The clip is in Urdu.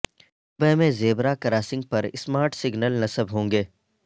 دبئی میں زیبرا کراسنگ پر سمارٹ سگنل نصب ہوں گے